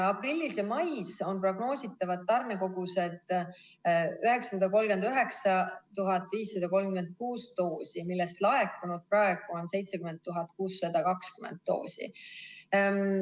Aprillis ja mais on prognoositavad tarnekogused 939 536 doosi, millest laekunud on praegu 70 620 doosi.